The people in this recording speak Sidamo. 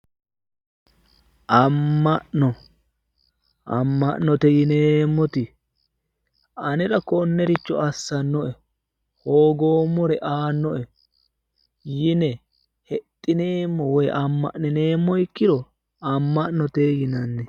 Amma'no. Amma'note yineemmoti anera konniricho assannoe hogoommore aannoe anera yine hexxineemmo ikkiro amma'note yinanni